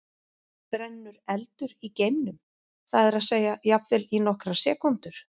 Brennur eldur í geimnum, það er að segja jafnvel í nokkrar sekúndur?